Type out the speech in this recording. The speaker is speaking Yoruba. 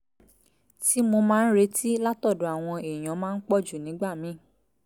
tí mo máa ń retí látọ̀dọ̀ àwọn èèyàn máa ń pòjù nígbà míì